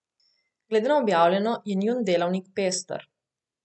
Glede na objavljeno, je njun delavnik pester.